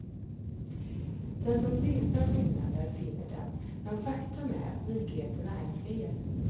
Den som letar skillnader finner dem, men faktum är att likheterna är fler.